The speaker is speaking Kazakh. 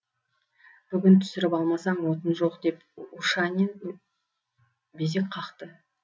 бүгін түсіріп алмасаң отын жоқ деп ушанин безек қақты